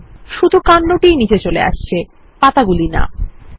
শুধু কান্ড টিই নিচে চলে আসছে পাতাগুলি না160